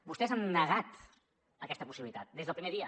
vostès han negat aquesta possibilitat des del primer dia